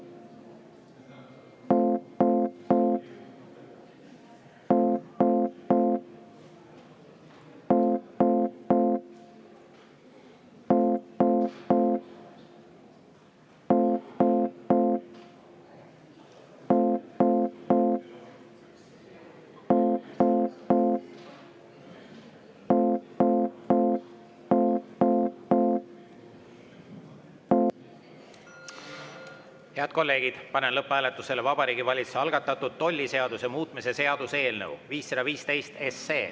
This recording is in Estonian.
Head kolleegid, panen lõpphääletusele Vabariigi Valitsuse algatatud tolliseaduse muutmise seaduse eelnõu 515.